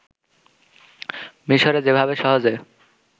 মিশোরে যেভাবে সহজে